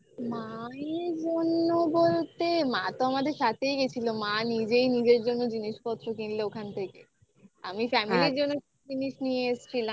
মায়ের জন্য বলতে মা তো আমাদের সাথেই গেছিল. মা নিজেই নিজের জন্য জিনিসপত্র কিনলো ওখান থেকে আমি family র জন্য জিনিস নিয়ে এসছিলাম.